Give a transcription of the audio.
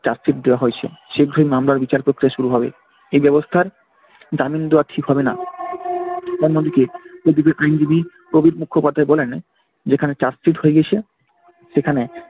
chargsheet দেওয়া হয়েছে। শীঘ্রই মামলার বিচার পক্রিয়া শুরু হবে। এই ব্যাবস্থার জামিন দেওয়া ঠিক হবেনা। অন্যদিকে প্রদীপের আইনজীবী মুখোপাধ্যায় বলেন যেখানে charge sheet হয়ে গিয়েছে সেখানে